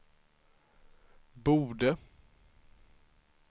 borde